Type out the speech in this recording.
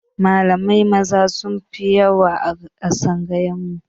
Malamai Maza sunfi yawa a tsangayar mu